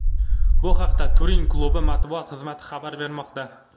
Bu haqda Turin klubi matbuot xizmati xabar bermoqda .